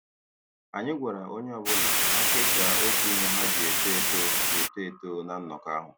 Anyị gwara onye ọ bụla ka ha kesaa otu ihe ha ji eto eto ji eto eto na nnọkọ ahụ.